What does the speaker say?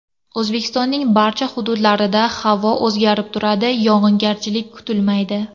O‘zbekistonning barcha hududlarida havo o‘zgarib turadi, yog‘ingarchilik kutilmaydi.